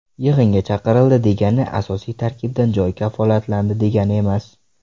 Yig‘inga chaqirildi degani asosiy tarkibdan joy kafolatlandi degani emas.